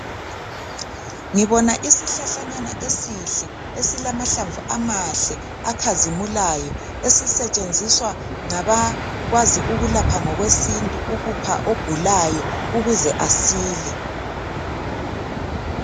ngibona isihlahlanyana esihle esilamahlamvu amahle akhazimulayo esisetshenziswa ngabakwazi ukulapha ngokwesintu ukupha ogulayo ukuze asile